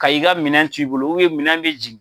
Ka i ka minɛn t'i bolo minɛn bɛ jigi.